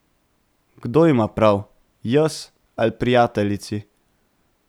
Kdo ima prav, jaz ali prijateljici?